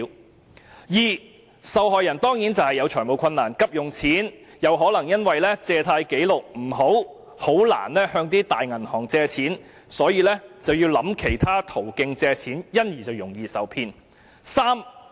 第二，受害人有財務困難而急需借錢，卻可能因為借貸紀錄不良而難以向大型銀行借貸，所以要考慮其他途徑借貸，因而容易受騙。